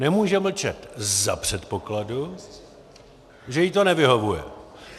Nemůže mlčet za předpokladu, že jí to nevyhovuje.